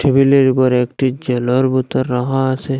টেবিলের উপর একটি জলের বোতল রাখা আছে।